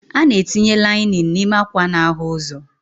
A na-etinye lainin n'ime ákwà n'ahụ ụzọ.